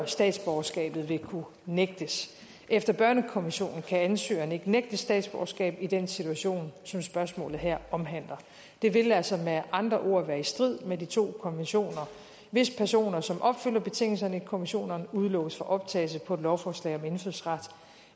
statsborgerskabet vil kunne nægtes efter børnekonventionen kan ansøgeren ikke nægtes statsborgerskab i den situation som spørgsmålet her omhandler det vil altså med andre ord være i strid med de to konventioner hvis personer som opfylder betingelserne i konventionerne udelukkes fra optagelse på et lovforslag om indfødsret